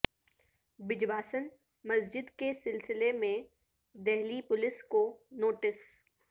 بجواسن مسجد کے سلسلے میں دہلی پولیس کو نوٹس